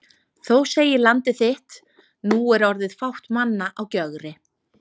Þó segir Landið þitt: Nú er orðið fátt manna á Gjögri